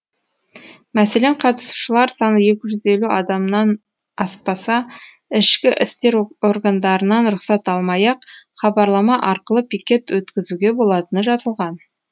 мәселен қатысушылар саны екі жүз елу адамнан аспаса ішкі істер органдарынан рұқсат алмай ақ хабарлама арқылы пикет өткізуге болатыны жазылған